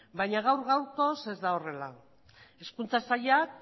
baina gaur gaurkoaz ez da horrela hezkuntza sailak